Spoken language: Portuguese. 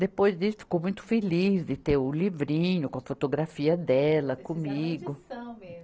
Depois disso, ficou muito feliz de ter o livrinho com a fotografia dela comigo. mesmo